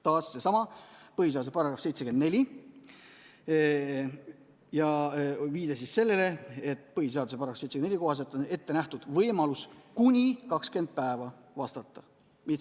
Taas seesama põhiseaduse § 74 ja viide sellele, et põhiseaduse § 74 kohaselt on ette nähtud võimalus kuni 20 päeva vastata.